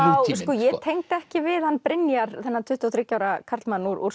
sko ég tengdi ekki við hann Brynjar þennan tuttugu og þriggja ára karlmann úr